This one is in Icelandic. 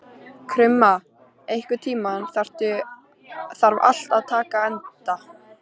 Krumma, einhvern tímann þarf allt að taka enda.